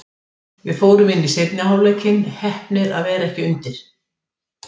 Við fórum inn í seinni hálfleikinn, heppnir að vera ekki undir.